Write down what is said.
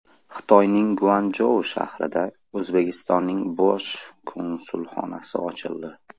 Xitoyning Guanchjou shahrida O‘zbekistonning bosh konsulxonasi ochildi.